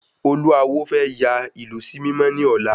Olú awo fẹ́ yà ìlú sí mímọ́ ni ọ̀la